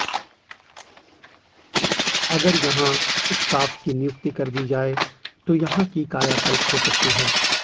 अगर यहां स्टाफ की नियुक्ति कर दी जाए तो यहां की कायाकल्प हो सकती है